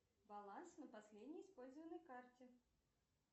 баланс на последней использованной карте